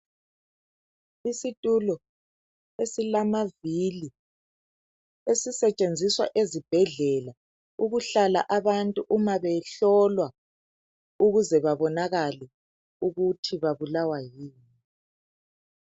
Isitulo esilamavili esisetshenziswa ezibhedlela esisetshenziswa ukuhlala abantu uma behlolwa ukuze babonakale ukuthi babulawa yini.